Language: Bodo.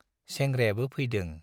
सोंग्रायाबो फैदों।